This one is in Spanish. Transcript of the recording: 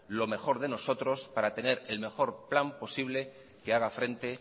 lo mejor de nosotros para tener el mejor plan posible que haga frente